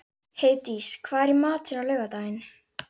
Erlín, bókaðu hring í golf á föstudaginn.